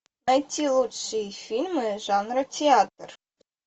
найти лучшие фильмы жанра театр